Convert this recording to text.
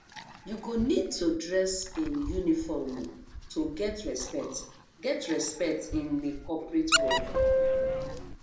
you go need to dress in uniform um to get respect get respect in a corporate world